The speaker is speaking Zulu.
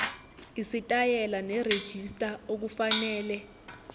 isitayela nerejista okufanele